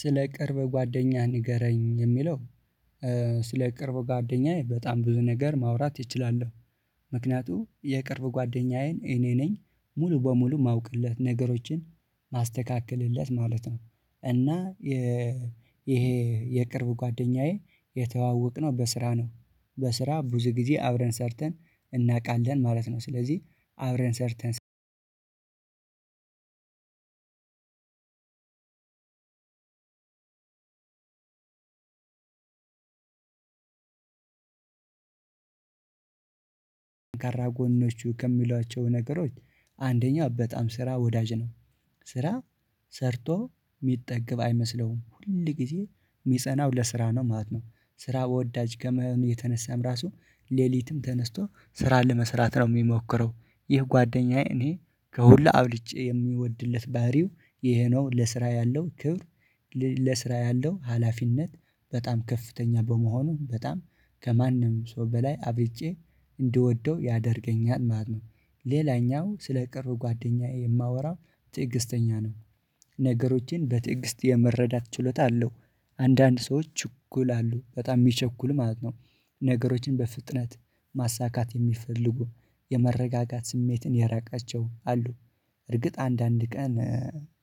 ስለ ቅርብ ጓደኛ ንገረኝ የሚለው? ስለ ቅርብ ጓደኛዬ በጣም ብዙ ነገር ማውራት እችላለሁ። ምክንያቱም የቅርብ ጓደኛዬን እኔ ነኝ ሙሉ በሙሉ ማውቅለት ነገሮችን ማስተካከልለት ማለት ነው። እና ይሄ የቅርብ ጓደኛዬ የተዋወቅነው በስራ ነው። በስራ ብዙ ጊዜ አብረን ሰርተን እናቃለን ማለት ነው። ስለዚህ አብረን ሰርተን ጠንካራ ጎኖቹ ከሚሏቸው ነገሮች አንደኛ በጣም ስራ ወዳጅ ነው። ስራ ሰርቶ የሚጠገብ አይመስለውም ሁል ጊዜ የሚጸናው ለስራ ነው ማለት ነው። ስራ በወዳጅ ከመሆኑ የተነሳም ራሱ ሌሊትም ተነስቶ ስራ ለመስራት ነው የሚሞክረው። ይህ ጓደኛዬ እኔ ከሁሉ አብልጬ የሚወድለት ባህሪው ይሄ ነው ለስራ ያለው ክብር። ለስራ ያለው ሀላፊነት በጣም ከፍተኛ በመሆኑም በጣም ከማንም ሰው በላይ አብልጬ እንድወደው ያደርገኛል ማለት ነው። ሌላኛው ስለ ቅርብ ጓደኛዬ የማወራው ትዕግስተኛ ነው። ነገሮችን በትዕግስት የመረዳት ችሎታ አለው። አንዳንድ ሰዎች እኩል አሉ በጣም የሚቸኩሉ ማለት ነው። ነገሮችን በፍጥነት ማሳካት የሚፈልጉ የመረጋጋት ስሜትን ያራቃቸው አሉ። እርግጥ አንዳንድ ቀን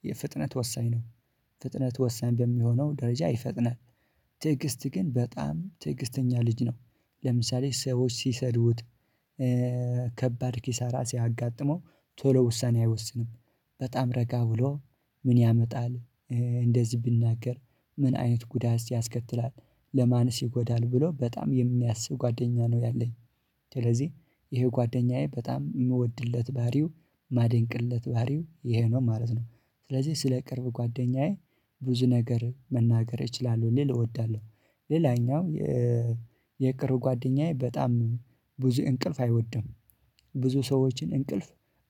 የፍጥነት ወሳኝ ነው ፍጥነት ወሳኝ በሚሆነው ደረጃ ይፈጥናል። ትዕግስት ግን በጣም ትዕግስተኛ ልጅ ነው። ለምሳሌ ሰዎች ሲሰድውት ሲሰድዱት ከባድ ኪሳራ ሲያጋጥመው ቶሎ ውሳኔ አይወስንም። በጣም ረጋ ብሎ ምን ያመጣል እንደዚህ ብናገር ምን አይነት ጉዳይ እዚህ ያስከትላል ለማንስ ይጎዳል ብሎ በጣም የሚያስብ ጓደኛ ነው ያለኝ። ስለዚህ ይሄ ጓደኛዬ በጣም የምወድለት ባሪው የማደንቅለት ባሪው ይሄ ነው ማለት ነው። ስለዚህ ስለ ቅርብ ጓደኛዬ ብዙ ነገር መናገር እችላለሁ ሌላው እወዳለሁ። ሌላኛው የቅርብ ጓደኛዬ በጣም ብዙ እንቅልፍ አይወድም። ብዙ ሰዎችን እንቅልፍ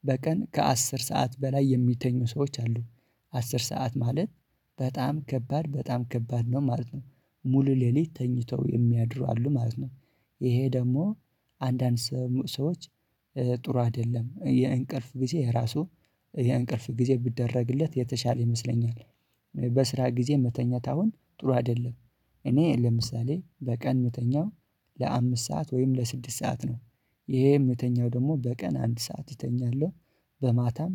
በቀን ከአስር ሰዓት በላይ የሚተኙ ሰዎች አሉ። አስር ሰዓት ማለት በጣም ከባድ በጣም ከባድ ነው ማለት ነው። ሙሉ ሌሊት ተኝተው የሚያድሩ አሉ ማለት ነው። ይሄ ደግሞ አንዳንድ ሰዎች ጥሩ አይደለም የእንቅልፍ ጊዜ ራሱ የእንቅልፍ ጊዜ ቢደረግለት የተሻለ ይመስለኛል። በስራ ጊዜ መተኛት አሁን ጥሩ አይደለም። እኔ ለምሳሌ በቀን መተኛው ለአምስት ሰዓት ወይም ለስድስት ሰዓት ነው። ይሄም ምተኛው ደግሞ በቀን አንድ ሰዓት ይተኛለሁ። በማታም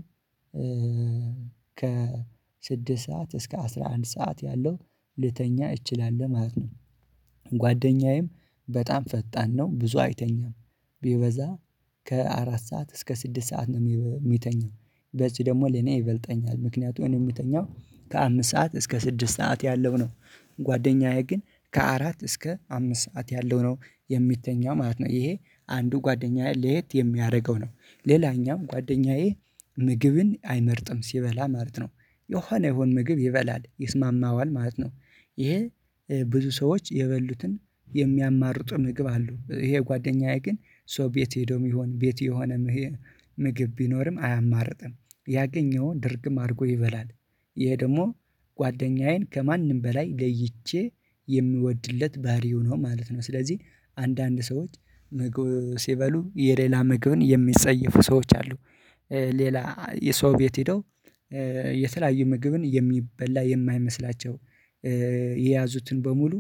ከስድስት ስድስት ሰዓት እስከ አስራ አንድ ሰዓት ያለው ልተኛ እችላለሁ ማለት ነው። ጓደኛዬም በጣም ፈጣን ነው ብዙ አይተኛም። ቢበዛ ከአራት ሰዓት እስከ ስድስት ሰዓት ነው የሚተኛው በዚህ ደግሞ ለኔ ይበልጠኛል ምክንያቱም እኔ የሚተኛው ከአምስት ሰዓት እስከ ስድስት ሰዓት ያለው ነው ጓደኛዬ ግን ከአራት እስከ አምስት ሰዓት ያለው ነው የሚተኛው ማለት ነው። ይሄ አንዱ ጓደኛዬ ለየት የሚያደርገው ነው ሌላኛም ጓደኛዬ ምግብን አይመርጥም ሲበላ ማለት ነው የኋና የሆነ ምግብ ይበላል ይስማማዋል ማለት ነው። ይሄ ብዙ ሰዎች የበሉትን የሚያማርጡ ምግብ አሉ ይሄ ጓደኛዬ ግን ሰው ቤት ሄዶ የሚሆን ቤት የሆነ ምግብ ቢኖርም አያማርጥም ያገኘውን ድርግም አድርጎ ይበላል። ይሄ ደግሞ ጓደኛዬን ከማንም በላይ ለይቼ የምወድለት ባህሪ ሆኖ ማለት ነው። ስለዚህ አንዳንድ ሰዎች ምግብ ሲበሉ የሌላ ምግብን የሚጸየፉ ሰዎች አሉ። ሌላ የሰው ቤት ሄደው የተለያዩ ምግብን የሚበላ የማይመስላቸው የያዙትን በሙሉ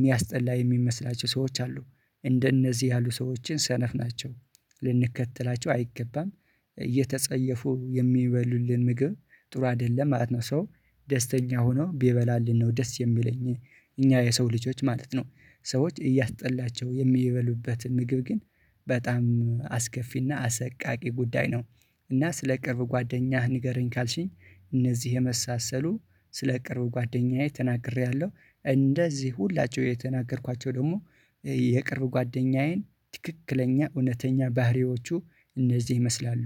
ሚያስጠላ የሚመስላቸው ሰዎች አሉ። እንደነዚህ ያሉ ሰዎችን ሰነፍ ናቸው ልንከተላቸው አይገባም። እየተጸየፉ የሚበሉልን ምግብ ጥሩ አይደለም ማለት ነው። ሰው ደስተኛ ሆኖ ቢበላልን ነው ደስ የሚለኝ እኛ የሰው ልጆች ማለት ነው ሰዎች እያስጠላቸው የሚበሉበትን ምግብ ግን በጣም አስከፊና አሰቃቂ ጉዳይ ነው። እና ስለ ቅርብ ጓደኛህ ንገረኝ ካልሽኝ እነዚህ የመሳሰሉ ስለ ቅርብ ጓደኛዬ ተናግሬያለሁ። እንደዚህ ሁላችሁ የተናገርኳቸው ደግሞ የቅርብ ጓደኛዬን ትክክለኛ እውነተኛ ባህሪዎቹ እነዚህ ይመስላሉ።